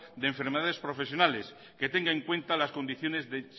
de enfermedades profesionales que tenga en cuenta las condiciones de